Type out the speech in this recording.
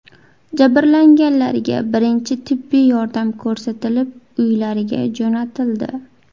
Jabrlanganlarga birinchi tibbiy yordam ko‘rsatilib, uylariga jo‘natildi.